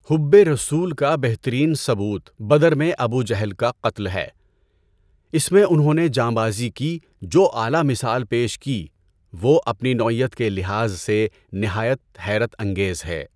حُبِّ رسول کا بہترین ثبوت بدر میں ابو جہل کا قتل ہے۔ اس میں انہوں نے جانبازی کی جو اعلیٰ مثال پیش کی وہ اپنی نوعیت کے لحاظ سے نہایت حیرت انگیز ہے۔